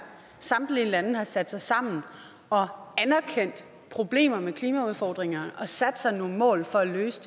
samtlige lande har sat sig sammen og anerkendt problemer med klimaudfordringer og sat sig nogle mål for at løse